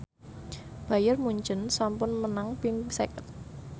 Bayern Munchen sampun menang ping seket